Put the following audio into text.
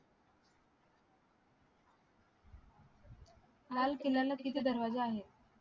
लाल किल्ल्याला किती दरवाजे आहेत